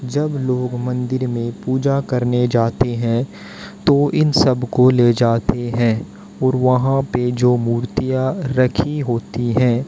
जब लोग मंदिर में पूजा करने जाते हैं तो इन सब को ले जाते हैं और वहां पे जो मूर्तियां रखी होती हैं।